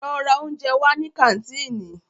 Lọ ra óúnjẹ wá ní kàńtìnì!